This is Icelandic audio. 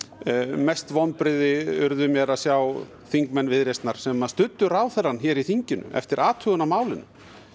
mest vonbrigði urðu mér að sjá þingmenn Viðreisnar sem að studdu ráðherrann hér í þinginu eftir athugun á málinu